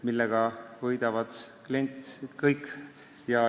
Sellest võidab klient.